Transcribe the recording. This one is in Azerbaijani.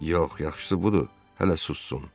Yox, yaxşısı budur, hələ sussun.